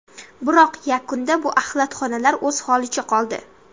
Biroq yakunda bu axlatxonalar o‘z holicha qoldi.